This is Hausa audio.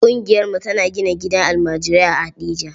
Ƙungiyarmu tana gina gidan almajirai a Heɗejia.